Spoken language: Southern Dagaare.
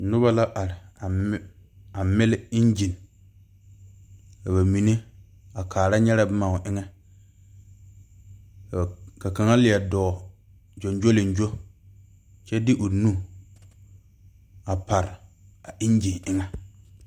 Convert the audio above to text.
Nuba la arɛ a mili engine ka ba menne a kaara nyɛre bʋma ɔ eŋa ka kaŋa leɛ dɔɔ jonjolinjo kyɛ de ɔ nʋ a parɛ a ɛnginɛ eŋa.